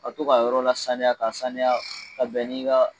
A to ka yɔrɔ la saniya ka saniya ka bɛn ni ka